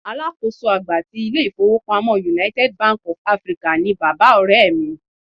Alákòóso àgbà ti ilé-ifowopamo United Bank of Africa ni bàbá Ọ̀rẹ́ mi.